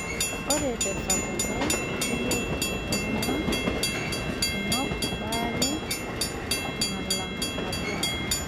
Ore tesapuko, keyieu iltung'ana kunok baare nalang' nabo.